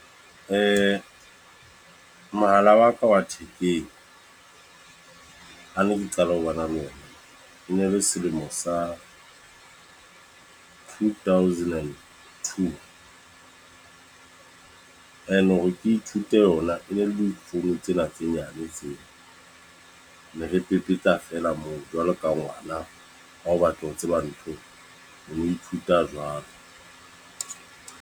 Mohala wa ka wa thekeng. Ha ne ke qala ho bana le ona. E ne le selemo sa two thousand and two. E ne hore ke ithute ona. E ne le difounu tsena tse nyane tse. Ne re pepetla feela moo, jwalo ka ngwana ha o batla ho tseba ntho. O no ithuta jwalo.